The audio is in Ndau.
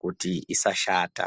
kuti isashata.